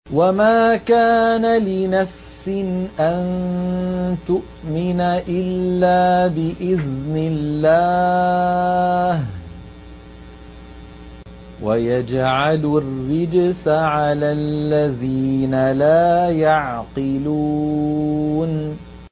وَمَا كَانَ لِنَفْسٍ أَن تُؤْمِنَ إِلَّا بِإِذْنِ اللَّهِ ۚ وَيَجْعَلُ الرِّجْسَ عَلَى الَّذِينَ لَا يَعْقِلُونَ